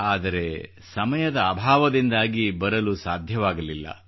ಆದರೆ ಸಮಯದ ಅಭಾವದಿಂದಾಗಿ ಬರಲು ಸಾಧ್ಯವಾಗಲಿಲ್ಲ